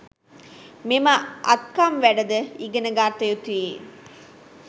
මෙම අත්කම් වැඩ ද ඉගෙන ගත යුතුයි